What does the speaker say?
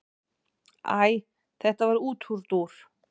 Æ þetta var útúrdúr.